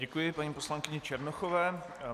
Děkuji paní poslankyni Černochové.